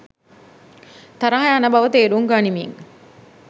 තරහ යන බව තේරුම් ගනිමින්